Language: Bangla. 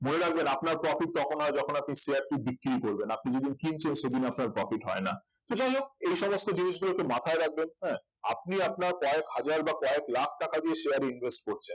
মনে রাখবেন আপনার profit তখন হয় যখন আপনি share টি বিক্রি করবেন আপনি যেদিন কিনছেন সেদিন আপনার profit হয় না তো যাই হোক এই সমস্ত জিনিস গুলোকে মাথায় রাখবেন হ্যাঁ আপনি আপনার কয়েক হাজার বা কয়েক লাখ টাকা দিয়ে share invest করছেন